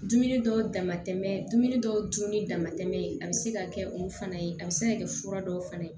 Dumuni dɔw dama tɛmɛ dumuni dɔw dun ni dama tɛmɛn a bɛ se ka kɛ o fana ye a bɛ se ka kɛ fura dɔw fana